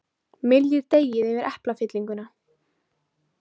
Myljið deigið yfir eplafyllinguna.